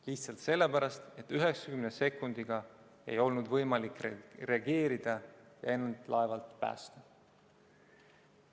Lihtsalt sellepärast, et 90 sekundiga ei olnud võimalik reageerida, end laevalt päästa.